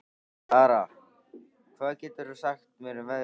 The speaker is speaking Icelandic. Dara, hvað geturðu sagt mér um veðrið?